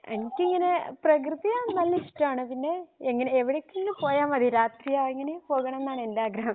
എനിക്കിങ്ങനെ പ്രകൃതിയാനെല്ലാം ഇഷ്ടമാണ് പിന്നെ എങ്ങിനെ എവിടേക്കെങ്കിലും പോയ മതി രാത്രി പോകണം എന്നാണ് എൻ്റെ ആഗ്രഹം